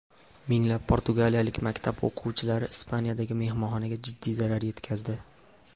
Minglab portugaliyalik maktab o‘quvchilari Ispaniyadagi mehmonxonaga jiddiy zarar yetkazdi.